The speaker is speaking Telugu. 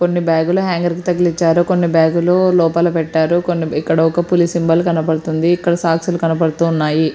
కొన్ని బ్యాగ్ లు హేంగర్ల కి తగిలించారు కొన్ని బ్యాగ్ లు లోపాల పెట్టారు కొన్ని ఇక్కడ పులి సింబల్ కనబడుతుంది ఇక్కడ సోక్క్సు లు కనబడుతు ఉన్నాయి.